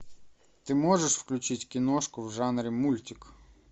ты можешь включить киношку в жанре мультик